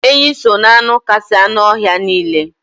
Enyi so n'anụ kasị anụ ọhịa niile.